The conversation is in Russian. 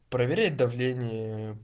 проверять давление